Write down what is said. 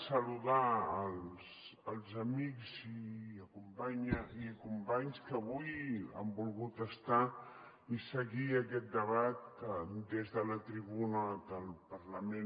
saludar els amics i companys que avui han volgut ser hi i seguir aquest debat des de la tribuna del parlament